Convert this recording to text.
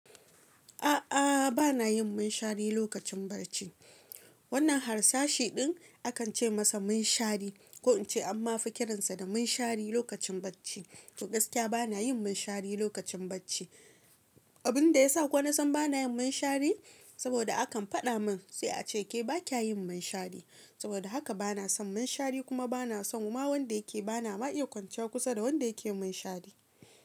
A'a, bana yin munshari lokacin bacci. Wannan harsashi din akan ce masa munshari, ko in ce amma fi kiransa da munshari lokacin bacci. To gaskiya bana yin munshari lokacin bacci. Abin da ya sa kowa zan bana yin munshari, saboda akan faɗa min sai a ce ke ba kya yin munshari. Saboda haka bana son munshari kuma bana son ma wanda yake bana ma iya kwance kusa da wanda yake munshari.